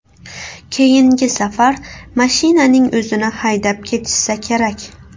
Keyingi safar mashinaning o‘zini haydab ketishsa kerak.